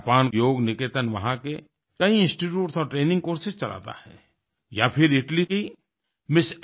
जापानयोग निकेतन वहां के कई इंस्टीट्यूट और ट्रेनिंग कोर्सेस चलाता है या फिर इटली की एमएस